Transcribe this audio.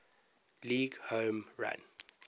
league home run